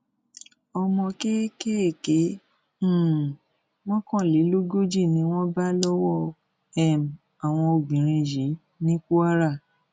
ọmọ kéékèèké um mọkànlélógójì ni wọn bá lọwọ um àwọn obìnrin yìí ní kwara